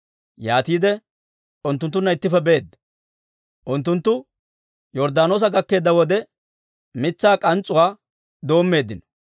yaatiide unttunttunna ittippe beedda. Unttunttu Yorddaanoosa gakkeedda wode, mitsaa k'ans's'uwaa doommeeddino.